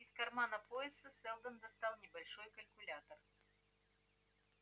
из кармана пояса сэлдон достал небольшой калькулятор